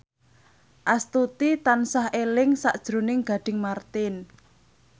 Astuti tansah eling sakjroning Gading Marten